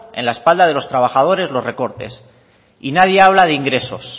en la espalda de los trabajadores los recortes y nadie habla de ingresos